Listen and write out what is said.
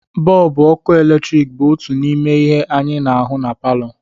Bọlbụ ọkụ eletrik bụ otu n'ime ihe anyị na-ahụ na palọ